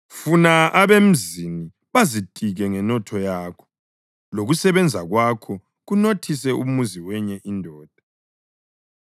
funa abemzini bazitike ngenotho yakho lokusebenza kwakho kunothise umuzi wenye indoda.